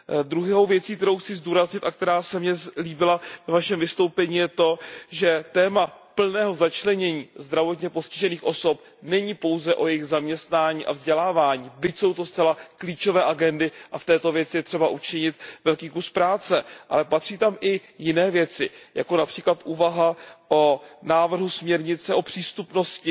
Druhou věcí, kterou chci zdůraznit a která se mně líbila ve vašem vystoupení, je to, že téma plného začlenění zdravotně postižených osob není pouze o jejich zaměstnání a vzdělávání, byť jsou to zcela klíčové agendy a v této věci je třeba učinit velký kus práce, ale patří tam i jiné věci, jako například úvaha o návrhu směrnice o přístupnosti